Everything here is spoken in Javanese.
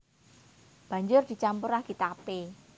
Banjur dicampur ragi tapé